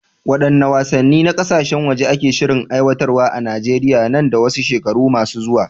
Waɗanne wasanni na kasashen waje ake shirin aiwatarwa a Najeriya nan da wasu shekaru masu zuwa?